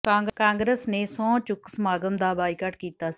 ਕਾਂਗਰਸ ਨੇ ਸਹੰੁ ਚੁੱਕ ਸਮਾਗਮ ਦਾ ਬਾਈਕਾਟ ਕੀਤਾ ਸੀ